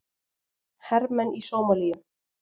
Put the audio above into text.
Hermenn í Sómalíu.